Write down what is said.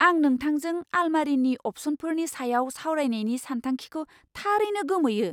आं नोंथांजों आलमारिनि अप्शनफोरनि सायाव सावरायनायनि सानखांथिखौ थारैनो गोमोयो!